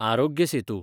Aarogya Setu